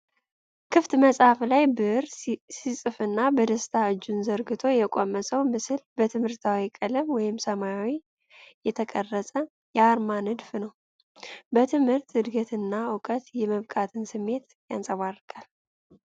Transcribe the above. ክፍት መጽሐፍ ላይ ብዕር ሲጽፍና በደስታ እጁን ዘርግቶ የቆመ ሰው ምስል በትምህርታዊ ቀለም (ሰማያዊ) የተቀረጸ የአርማ ንድፍ ነው። በትምህርት ዕድገትና እውቀት የመብቃትን ስሜት ያንጸባርቃል።